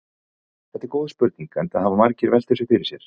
Þetta er góð spurning enda hafa margir velt þessu fyrir sér.